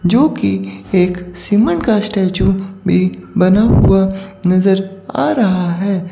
जो की एक सीमेंट का स्टेच्यू भी बना हुआ नज़र आ रहा है।